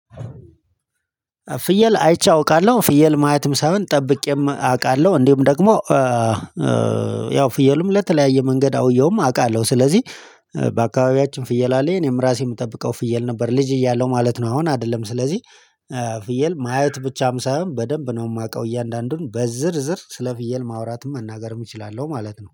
ፍየል አይቼ አውቃለሁ ፍየል ማየትም ሳይሆን ጠብቄም አውቃለሁ እንዲሁም ደግሞ ያው ፍየሉም ለተለያየ መንገድ አውየውም አውቃለሁ። ስለዚህ በአካባቢያችን ፍየል አለ የኔም ራሴ የምጠብቀው ፍየል ነበር ልጅ እያለው ማለት ነው። አሁን አይደለም ስለዚህ ፍየል ማየት ብቻም ሳይሆን በደንብ ነው የማውቀው። እያንዳንዱን በዝርዝር ስለ ፍየል ማውራትም መናገርም እችላለሁ ማለት ነው